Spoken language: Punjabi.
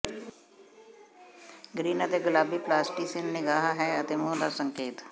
ਗਰੀਨ ਅਤੇ ਗੁਲਾਬੀ ਪਲਾਸਟਿਸਿਨ ਨਿਗਾਹ ਹੈ ਅਤੇ ਮੂੰਹ ਦਾ ਸੰਕੇਤ